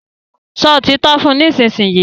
sọ òtítọ́ fún nísìsiyìí!